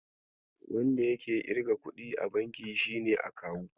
Wanda yake irga kuɗi a banki shine Akawu.